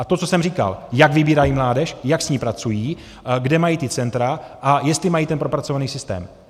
A to, co jsem říkal, jak vybírají mládež, jak s ní pracují, kde mají ta centra a jestli mají ten propracovaný systém.